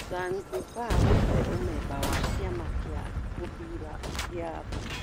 Zanzibari gũte ũmemba wa kĩama kĩa mũbira gĩa Afrika.